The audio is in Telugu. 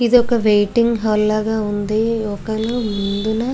ఇది ఒక వెయిటింగ్ హల ల ఉంది. ఒకలు ముందున --